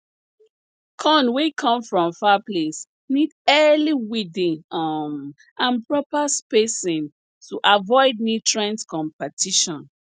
corn wey come from far place need early weeding um and proper spacing to avoid nutrient competition